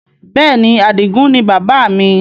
Bẹ́ẹ̀ni, Adigun ni bàbá mi